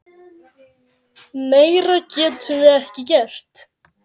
Meira getum við ekki gert.